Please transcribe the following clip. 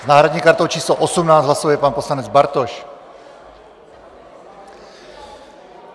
S náhradní kartou číslo 18 hlasuje pan poslanec Bartoš.